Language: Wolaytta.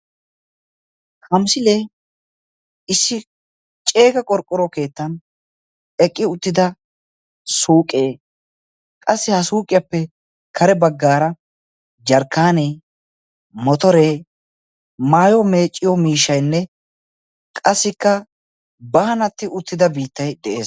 Ha misilee issi ceega qorqqoro keettan eqqi uttida suuqee, qassi ha suuqiyappe kare baggaara jarkkaanee, motoree, maayuwaa meecciyo miishshaynne qassikka baannatti uttida biittay de'ees